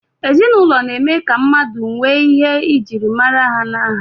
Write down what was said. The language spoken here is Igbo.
Ezinụlọ na-eme ka mmadụ nwee njirimara na aha